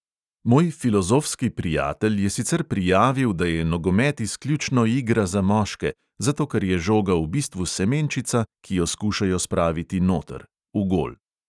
Moj filozofski prijatelj je sicer prijavil, da je nogomet izključno igra za moške, zato ker je žoga v bistvu semenčica, ki jo skušajo spraviti noter, v gol.